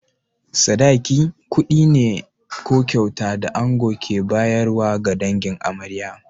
Sadaki, kuɗi ne ko kyauta da ango ke bayarwa ga dangin amarya.